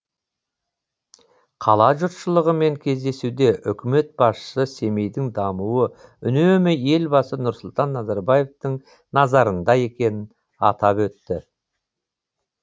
қала жұртшылығымен кездесуде үкімет басшысы семейдің дамуы үнемі елбасы нұрсұлтан назарбаевтың назарында екенін атап өтті